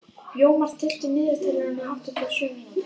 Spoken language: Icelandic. Jómar, stilltu niðurteljara á áttatíu og sjö mínútur.